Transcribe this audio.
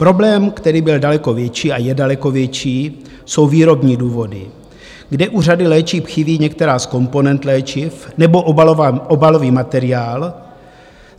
Problém, který byl daleko větší a je daleko větší, jsou výrobní důvody, kde u řady léčiv chybí některé z komponent léčiv nebo obalový materiál.